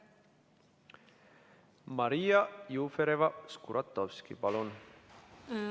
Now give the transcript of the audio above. Maria Jufereva-Skuratovski, palun!